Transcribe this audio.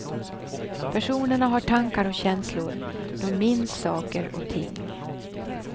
Personerna har tankar och känslor, de minns saker och ting.